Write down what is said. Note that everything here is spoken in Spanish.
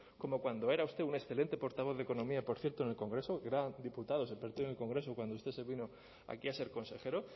como cuando era usted un excelente portavoz de economía por cierto en el congreso que eran diputados en el partido en el congreso cuando usted se vino aquí a ser consejero